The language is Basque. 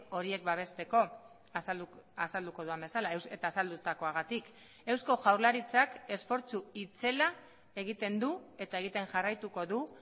horiek babesteko azalduko dudan bezala eta azaldutakoagatik eusko jaurlaritzak esfortzu itzela egiten du eta egiten jarraituko du